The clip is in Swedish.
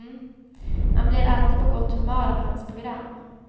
Man blir alltid på gott humör av hans program.